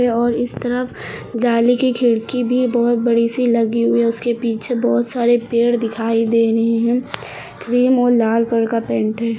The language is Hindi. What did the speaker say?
और इस तरफ जाली की खिड़की भी बहुत बड़ी सी लगी हुई है उसके पीछे बहोत सारे पेड़ दिखाई दे रहे हैं क्रीम और लाल कलर का पेंट है।